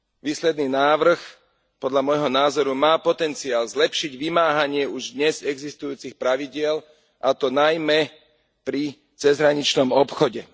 Výsledný návrh podľa môjho názoru má potenciál zlepšiť vymáhanie už dnes existujúcich pravidiel, a to najmä pri cezhraničnom obchode.